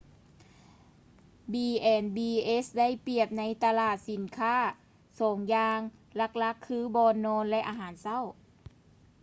b&bs ໄດ້ປຽບໃນຕະຫຼາດສິນຄ້າສອງຢ່າງຫຼັກໆຄື: ບ່ອນນອນ ແລະ ອາຫານເຊົ້າ